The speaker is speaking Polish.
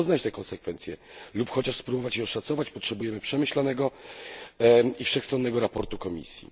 Żeby poznać te konsekwencje lub chociaż spróbować je oszacować potrzebujemy przemyślanego i wszechstronnego sprawozdania Komisji.